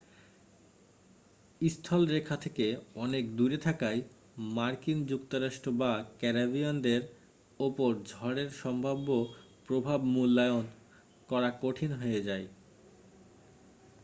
স্থলরেখা থেকে অনেক দূরে থাকায় মার্কিন যুক্তরাষ্ট্র বা ক্যারিবিয়ানদের উপর ঝড়ের সম্ভাব্য প্রভাব মূল্যায়ন করা কঠিন হয়ে যায়